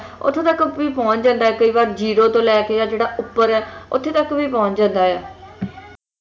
ਉੱਥੇ ਤੱਕ ਵੀ ਪਹੁੰਚ ਜਾਂਦਾ ਹੈ ਕਈ ਵਾਰ zero ਤੋਂ ਲੈ ਕੇ ਜਿਹੜਾ ਉੱਪਰ ਹੈ ਉੱਥੇ ਤੱਕ ਵੀ ਪਹੁੰਚ ਜਾਂਦਾ ਹੈ